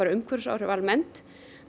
umhverfisáhrif almennt